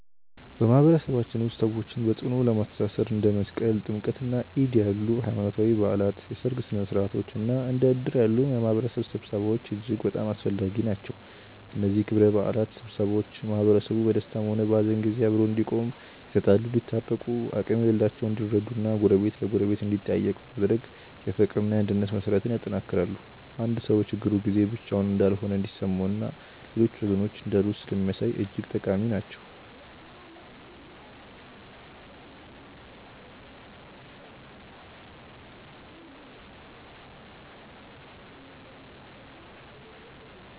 በማህበረሰባችን ውስጥ ሰዎችን በጽኑ ለማስተሳሰር እንደ መስቀል፣ ጥምቀትና ዒድ ያሉ ሃይማኖታዊ በዓላት፣ የሠርግ ሥነ ሥርዓቶች እና እንደ እድር ያሉ የማህበረሰብ ስብሰባዎች እጅግ በጣም አስፈላጊ ናቸው። እነዚህ ክብረ በዓላትና ስብሰባዎች ማህበረሰቡ በደስታም ሆነ በሐዘን ጊዜ አብሮ እንዲቆም፣ የተጣሉ እንዲታረቁ፣ አቅም የሌላቸው እንዲረዱ እና ጎረቤት ለጎረቤት እንዲጠያየቅ በማድረግ የፍቅርና የአንድነት መሠረትን ያጠነክራሉ። አንድ ሰው በችግሩ ጊዜ ብቻውን እንዳልሆነ እንዲሰማውና ሌሎች ወገኖች እንዳሉት ስለሚያሳይ እጅግ ጠቃሚ ናቸው።